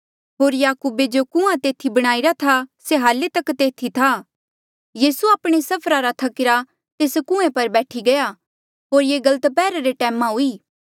होर याकूबे जो कुंआं तेथी बणाईरा था से हाल्ले तक तेथी था यीसू आपणे सफरा रा थकीरा तेस कुएं पर बैठी गया होर ये गल दप्हैरा रे टैमा हुई